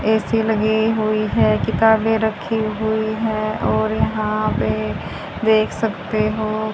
AC लगी हुई है किताबें रखी हुई है और यहां पर देख सकते हो--